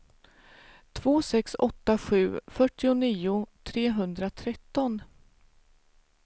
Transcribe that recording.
två sex åtta sju fyrtionio trehundratretton